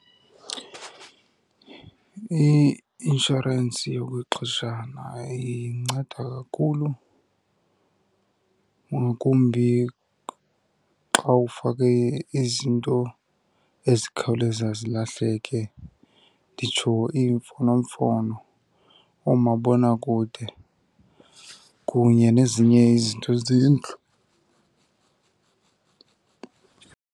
I-inshorensi yokwexeshana inceda kakhulu, ngakumbi xa ufake izinto ezikhawuleza zilahleke. Nditsho iimfonomfono, oomabonakude, kunye nezinye izinto zendlu.